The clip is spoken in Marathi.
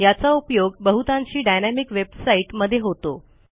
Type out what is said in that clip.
याचा उपयोग बहुतांशी डायनॅमिक वेबसाईट मध्ये होतो